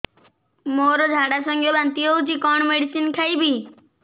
ମୋର ଝାଡା ସଂଗେ ବାନ୍ତି ହଉଚି କଣ ମେଡିସିନ ଖାଇବି